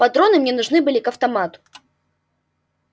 патроны мне нужны были к автомату